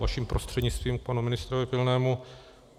Vaším prostřednictvím k panu ministrovi Pilnému.